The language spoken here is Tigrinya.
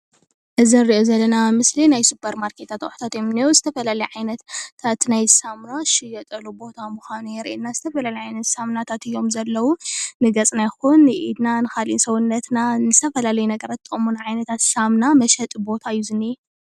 እዚ እንሪኦ ዘለና ምስሊ ናይ ሱፐርማርኬታት ኣቑሑታት እዮም ዝንኤዉ። ዝተፈላለዩ ዓይነታት ናይ ሳሙና ዝሽየጠሉ ቦታ ምዃኑ የርእየና። ዝተፈላለዩ ዓይነት ሳሙናታት እዮም ዘለዉ ንገፅና ይኹን ንኢድና ንኻልእ ሰዉነትና ንዝተፈላለዩ ነገራት ዝጠቑሙና ዓይነታት ሳሙና መሸጢ ቦታ እዩ ዝንሄ።